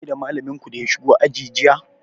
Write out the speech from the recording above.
Kun gaishe da malamin ku da ya shigo aji jiya?